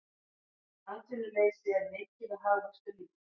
Atvinnuleysi er mikið og hagvöxtur lítill